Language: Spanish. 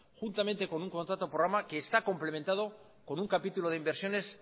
juntamente con un contrato de programa que está complementado con un capítulo de inversiones